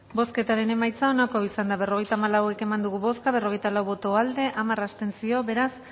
bozketaren emaitza onako izan da berrogeita hamalau eman dugu bozka berrogeita lau boto aldekoa hamar abstentzio beraz